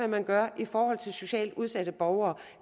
man gør i forhold til socialt udsatte borgere